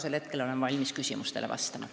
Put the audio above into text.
Nüüd aga olen valmis küsimustele vastama.